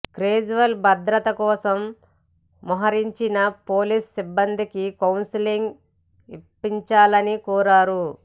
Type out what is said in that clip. కేజ్రీవాల్ భద్రత కోసం మోహరించిన పోలీసు సిబ్బందికి కౌన్సెలింగ్ ఇప్పించాలని కోరారు